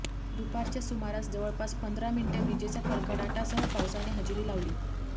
दुपारच्या सुमारास जवळपास पंधरा मिनिटे विजेच्या कडकडाटासह पावसाने हजेरी लावली